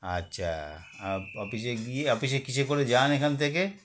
আচ্ছা আপ office -এ গিয়ে office -এ কিসে করে যান এখান থেকে